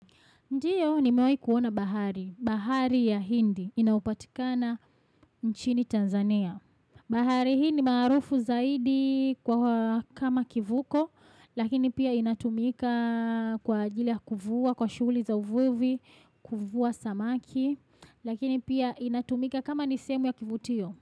Ndiyo nimewai kuona bahari, bahari ya hindi, inaopatikana nchini Tanzania. Bahari hii ni marufu zaidi kwa kama kivuko, lakini pia inatumika kwa ajili ya kuvua, kwa shughuli za uvuivi, kuvua samaki, lakini pia inatumika kama nisehemu ya kivutio.